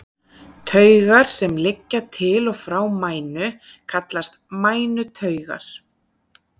Taugar sem liggja til og frá mænu kallast mænutaugar.